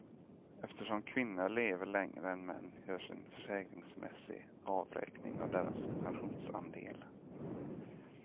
Eftersom kvinnor lever längre än män görs en försäkringsmässig avräkning av deras pensionsandel.